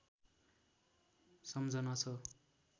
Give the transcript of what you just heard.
सम्झना छ